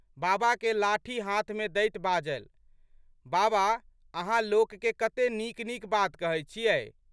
बाबाके लाठी हाथमे दैत बाजलि, बाबा अहाँ लोकके कते नीकनीक बात कहैत छियै।